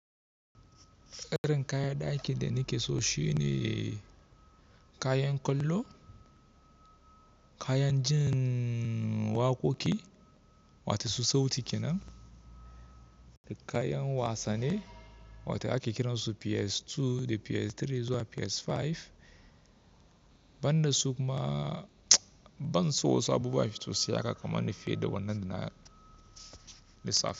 Irin kayan ɗakin da nike so shine kayan ƙwallo, kayan jin waƙoƙi wato su sauti kenan da kayan wasanni wato ake kira su PS2 da PS3 zuwa PS5. Ban da su kuma, ban so wasu abubuwa fitosi aka kama ni feɗa wannan duna da safe.